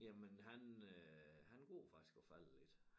Jamen han øh han går faktisk og falder lidt